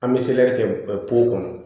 An bɛ kɛ kɔnɔ